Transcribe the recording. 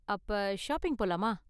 அப்ப ஷாப்பிங் போலாமா?